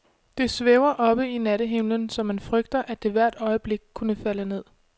Det svæver oppe i nattehimlen, så man frygter, at det hvert øjeblik kunne falde ned.